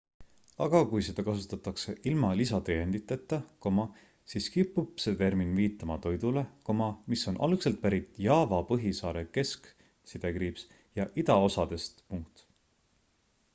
aga kui seda kasutatakse ilma lisatäienditeta siis kipub see termin viitama toidule mis on algselt pärit jaava põhisaare kesk ja idaosadest